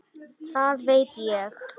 Það veit ég.